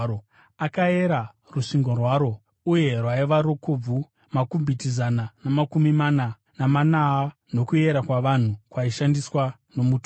Akaera rusvingo rwaro uye rwaiva rukobvu makubhiti zana namakumi mana namana nokuyera kwavanhu, kwaishandiswa nomutumwa.